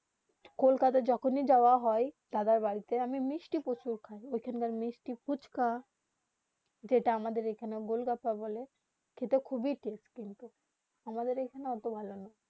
কলকাতা যখন হি যাওবা হয়ে দাদার বাড়ি তে আমি মিষ্টি প্রচুর খাই ওখান কার মিষ্টি ফুচকা যেটা আমাদের আখ্যানে গোলগাপ্পা বলে খেতে ক্ষোব হি টষ্টে কিন্তু মামাদের যেখানে ওত্তো ভালো না